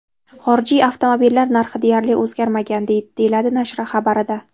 Xorijiy avtomobillar narxi deyarli o‘zgarmagan”, deyiladi nashr xabarida.